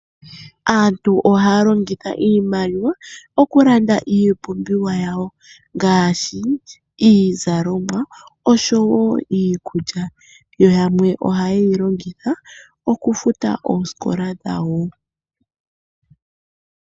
Aantu ohaya longitha iimaliwa okulanda iipumbiwa yawo ngaashi iizalomwa osho wo iikulya. Yamwe po ohayeyi longitha okufuta oosikola dhawo.